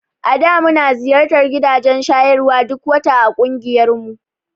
A da muna ziyartar gidajen shayarwa duk wata a ƙungiyarmu.